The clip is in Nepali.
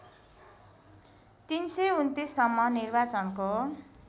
३२९ सम्म निर्वाचनको